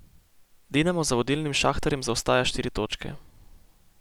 Dinamo za vodilnim Šahtarjem zaostaja štiri točke.